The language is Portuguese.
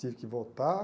Tive que voltar.